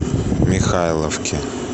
михайловки